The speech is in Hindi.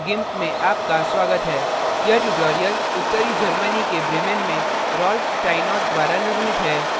meet the gimp में आपका स्वागत है यह ट्यूटोरियल उत्तरी germany के bremen में rolf steinort द्वारा निर्मित है